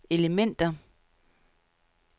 elementer